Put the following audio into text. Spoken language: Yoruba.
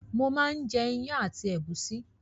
Mò máa ń jẹ iyán àti ẹ̀gúsí